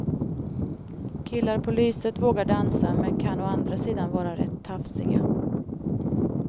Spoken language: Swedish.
Killar på lyset vågar dansa men kan å andra sidan vara rätt tafsiga.